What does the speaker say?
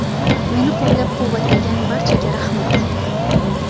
Meni qo‘llab-quvvatlagan barchaga rahmat.